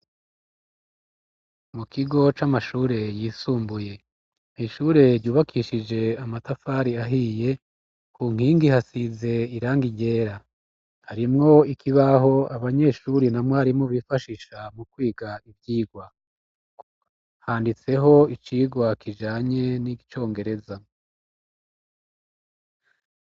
Mukigo c'amashure yisumbuye nishure ryubakishije amatafari ahiye kunkingi hasize irangi ryera harimwo ikibaho abanyeshuri na mwarimu bifashisha mukwiga ivyigwa. Handitseho icigwa kijanye n'iicongereza.